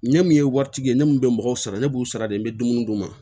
Ɲɛ min ye waritigi ye ne mun be mɔgɔw sara ne b'u sara de n be dumuni d'u ma